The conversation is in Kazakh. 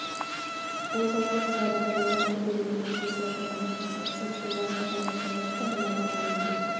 бұл жаңалық жабық және ақы төлеген жазылушыларға ғана ашық сіз сондай-ақ аталған жаңалықты мына бағамен де